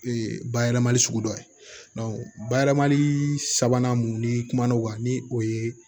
Ee bayɛlɛmali sugu dɔ ye bayɛlɛmali sabanan mun ni kumana o kan ni o ye